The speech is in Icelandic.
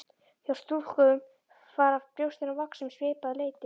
Hjá stúlkum fara brjóstin að vaxa um svipað leyti.